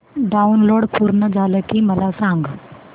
download पूर्ण झालं की मला सांग